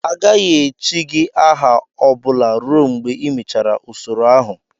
Agaghị echi gị aha ọ bụla ruo mgbe ịmechara usoro ahụ!